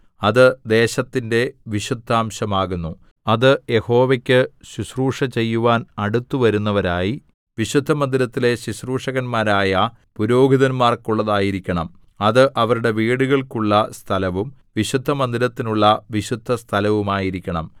അത് ദേശത്തിന്റെ വിശുദ്ധാംശമാകുന്നു അത് യഹോവയ്ക്കു ശുശ്രൂഷ ചെയ്യുവാൻ അടുത്തു വരുന്നവരായി വിശുദ്ധമന്ദിരത്തിലെ ശുശ്രൂഷകന്മാരായ പുരോഹിതന്മാർക്കുള്ളതായിരിക്കണം അത് അവരുടെ വീടുകൾക്കുള്ള സ്ഥലവും വിശുദ്ധമന്ദിരത്തിനുള്ള വിശുദ്ധസ്ഥലവുമായിരിക്കണം